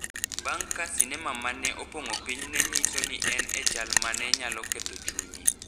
bang’ ka sinema ma ne opong’o piny ne nyiso ni en e chal ma ne nyalo ketho chunye.